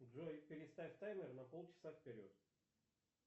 джой переставь таймер на полчаса вперед